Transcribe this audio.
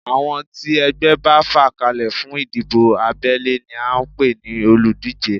Àwọn tí ẹgbẹ́ bá fà kalẹ̀ fún ìdìbò abẹ́lé ni à ń pè ní olùdíje